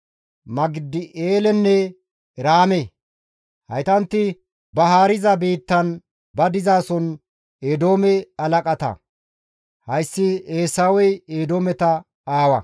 Magidi7eelenne Iraame. Haytanti ba haariza biittan, ba dizason Eedoome halaqata. Hayssi Eesawey Eedoometa aawa.